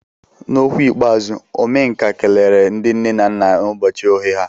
N'okwu ikpeazụ, Omenka kelere ndị nne na nna n'ụbọchị oghe ha.